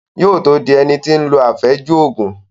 Yóò tó dín ẹni tí ó lo àfẹ́jù Ògùn